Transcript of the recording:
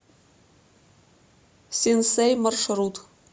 синсэй маршрут